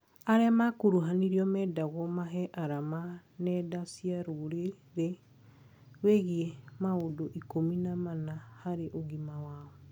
Arĩa makuruhanirio mendagwo mahe arama nenda cia rũrĩrĩ wĩgiĩ maũndũ ikũmi na mana harĩ ugima wao